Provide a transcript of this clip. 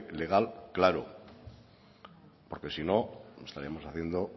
legal claro porque si no estaríamos haciendo